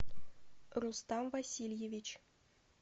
рустам васильевич